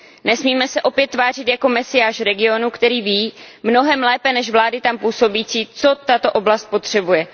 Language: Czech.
Nesmíme se opět tvářit jako mesiáš regionu, který ví mnohem lépe než vlády tam působící, co tato oblast potřebuje.